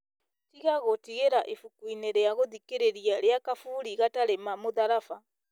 tiga gũtigĩra ibuku-inĩ rĩa gũthikĩrĩria rĩa kaburi gatarĩ ma mũtharaba